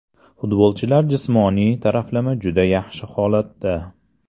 Futbolchilar jismoniy taraflama juda yaxshi holatda.